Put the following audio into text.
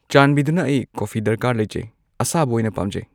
ꯆꯥꯟꯕꯤꯗꯨꯅ ꯑꯩ ꯀꯣꯐꯐꯤ ꯗꯔꯀꯥꯔ ꯂꯩꯖꯩ ꯑꯁꯥꯕ ꯑꯣꯏꯅ ꯄꯥꯝꯖꯩ